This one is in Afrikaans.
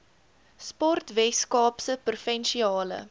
sport weskaapse provinsiale